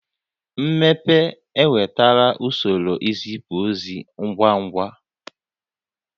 Mmepe ewetala usoro izipu ozi ngwa ngwa